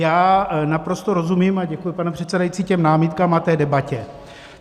Já naprosto rozumím - a děkuji, pane předsedající - těm námitkám a té debatě.